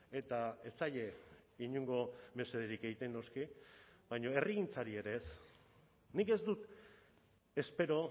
eta ez zaie inongo mesederik egiten noski baina herrigintzari ere ez nik ez dut espero